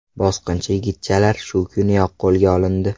Bosqinchi yigitchalar shu kuniyoq qo‘lga olindi.